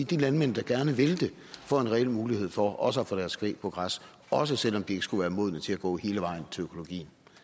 de landmænd der gerne vil det får en reel mulighed for også at få deres kvæg på græs også selv om de ikke skulle være modne til at gå hele vejen til økologien